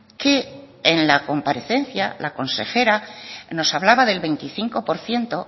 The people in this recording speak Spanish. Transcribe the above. que en la comparecencia la consejera nos hablaba del veinticinco por ciento